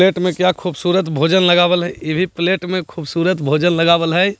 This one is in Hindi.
प्लेट में क्या खूबसूरत भोजन लगाबल है इभी प्लेट में खूबसूरत भोजन लगावल है।